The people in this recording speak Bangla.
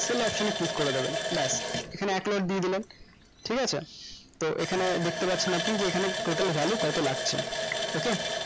সেই option এ click করে দেবেন ব্যাস এখানে এক লাখ দিয়ে দিলাম ঠিক আছে তো এখানে দেখতে পাচ্ছেন আপনি এখানে total value কত লাগছে okay